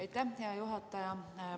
Aitäh, hea juhataja!